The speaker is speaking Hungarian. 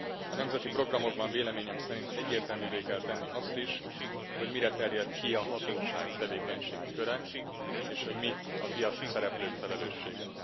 A nemzeti programokban véleményem szerint egyértelművé kell tenni azt is, hogy mire terjed ki a hatóság tevékenységköre, és hogy mi a piaci szereplők felelőssége.